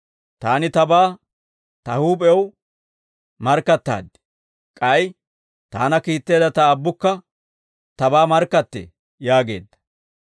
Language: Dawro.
Taani Tabaa Ta huup'ew markkattaaddi; k'ay Taana kiitteedda Ta Aabbukka Tabaa markkattee» yaageedda.